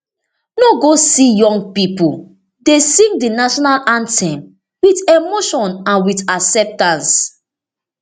no go see young pipo dey sing di national anthem wit emotion and wit acceptance